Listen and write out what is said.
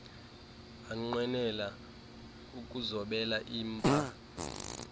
anqwenela ukuzobela impah